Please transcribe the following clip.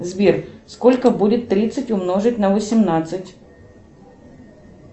сбер сколько будет тридцать умножить на восемнадцать